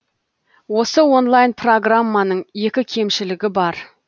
осы онлайн программаның екі кемшілігі бар